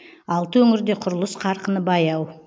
алты өңірде құрылыс қарқыны баяу